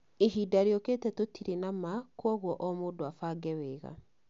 Ihinda rĩũkĩte tũtirĩ na ma, kwoguo o mũndũ abange wega